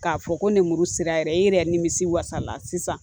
K'a fɔ ko nemuru sera yɛrɛ i yɛrɛ nimisi wasala sisan